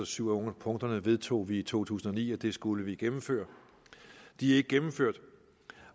syv af punkterne vedtog vi i to tusind og ni og det skulle vi gennemføre de er ikke gennemført